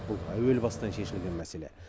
бұл әуел бастан шешілген мәселе